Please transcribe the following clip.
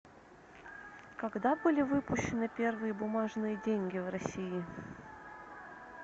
когда были выпущены первые бумажные деньги в россии